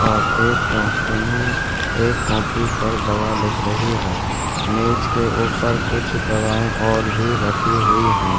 और एक डॉक्टरनी एक कॉपी पर दवा लिख रही है| मेज के ऊपर कुछ दवाये और भी रखी हुई है।